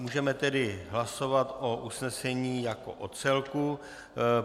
Můžeme tedy hlasovat o usnesení jako o celku.